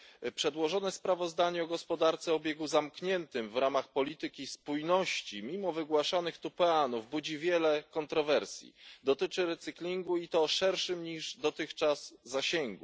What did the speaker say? Pani Przewodnicząca! Przedłożone sprawozdanie o gospodarce o obiegu zamkniętym w ramach polityki spójności mimo wygłaszanych tu peanów budzi wiele kontrowersji. Dotyczy recyklingu i to o szerszym niż dotychczas zakresie.